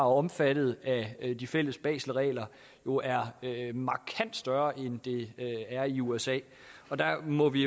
omfattet af de fælles baselregler jo er markant større end de er i usa og der må vi